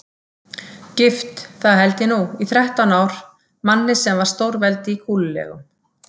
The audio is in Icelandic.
Gift, það held ég nú, í þrettán ár, manni sem var stórveldi í kúlulegum.